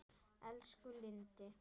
Elsku Lindi.